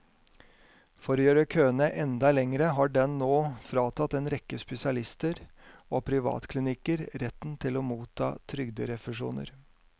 For å gjøre køene enda lengre har den nå fratatt en rekke spesialister og privatklinikker retten til å motta trygderefusjoner.